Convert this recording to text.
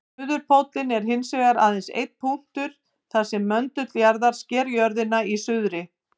Suðurpóllinn er hins vegar aðeins einn punktur þar sem möndull jarðar sker jörðina í suðri.